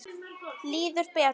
Líður betur.